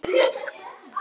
Gat hann verið betri?